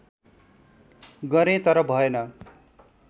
गरें तर भएन